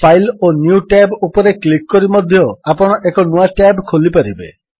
file ଓ new tab ଉପରେ click କରି ମଧ୍ୟ ଆପଣ ଏକ ନୂଆ ଟ୍ୟାବ୍ ଖୋଲିପାରିବେ